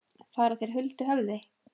Fara þeir huldu höfði?